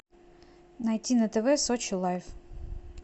найти на тв сочи лайф